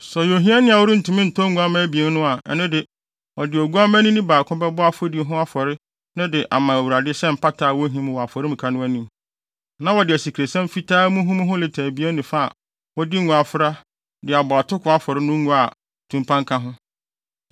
“Sɛ ɔyɛ ohiani a ɔrentumi ntɔ nguamma abien no a, ɛno de, ɔde oguamma nini baako bɛbɔ afɔdi afɔre no de ama Awurade sɛ mpata a wohim wɔ afɔremuka no anim; na wɔde asikresiam fitaa muhumuhu lita abien ne fa a wɔde ngo afra de abɔ atoko afɔre no a ngo tumpan ka ho.